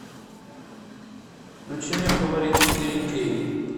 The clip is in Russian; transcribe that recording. включи мне фаворит четыре кей